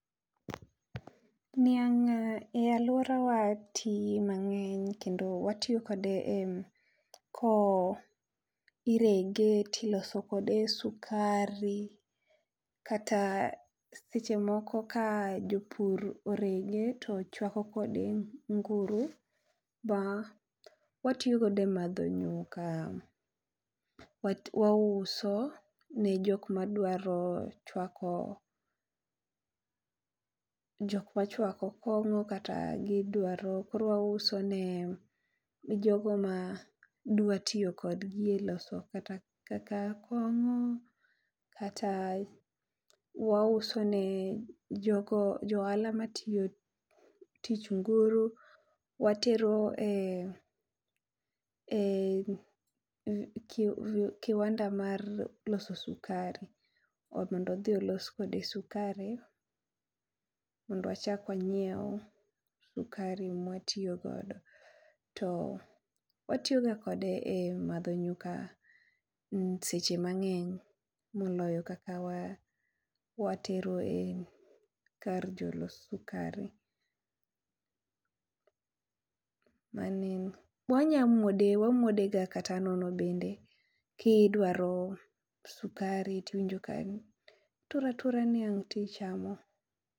Niang e aluora wa tii mangeny kendo watiyo kode e kowo ,irege ti iloso kode sikari, kata seche moko ka japur orege to chwako kod e nguru ma watiyo kod e madho nyuka, wauso ne jok ma dwa chwako, jok ma chwako kongo kata gi dwaro, koro wauso ne jogo ma dwa tiyo kod gi e loso kata kaka kong'o kata wause ne jo go jo ohala matiyo tich nguru, watero e e kiwanda mar loso sikari mondo odhi olos kode sikari mondo wachak wanyiew sikari ma watiyo godo. To watiyo ga kode e madho nyuka seche mangeny moloyo kaka watero kar jo los sikari. wanya muode , wamuode ga kata nono bende ki idwaro sikari ti n iwinjo ituro atura niang to ichamo.